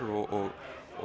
og